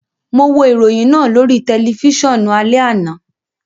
Mo wo iroyin naa lori tẹlifisiọnu alẹ ana